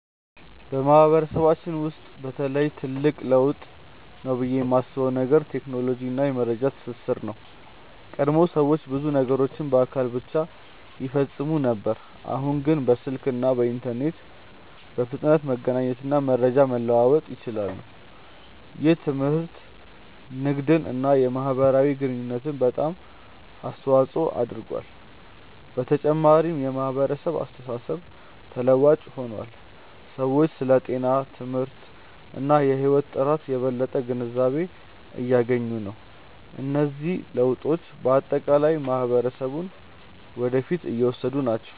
በማህበረሰባችን ውስጥ በተለይ ትልቅ ለውጥ ነው ብዬ የማስበው ነገር ቴክኖሎጂ እና የመረጃ ትስስር ነው። ቀድሞ ሰዎች ብዙ ነገሮችን በአካል ብቻ ይፈጽሙ ነበር፣ አሁን ግን በስልክ እና በኢንተርኔት በፍጥነት መገናኘት እና መረጃ መለዋወጥ ይችላሉ። ይህ ትምህርትን፣ ንግድን እና የማህበራዊ ግንኙነትን በጣም አስተዋፅኦ አድርጓል። በተጨማሪም የማህበራዊ አስተሳሰብ ተለዋዋጭ ሆኗል፤ ሰዎች ስለ ጤና፣ ትምህርት እና የህይወት ጥራት የበለጠ ግንዛቤ እያገኙ ናቸው። እነዚህ ለውጦች በአጠቃላይ ማህበረሰቡን ወደ ፊት እየወሰዱ ናቸው።